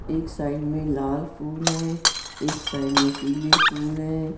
एक साइड में लाल फूल है एक साइड में पीले फूल हैं।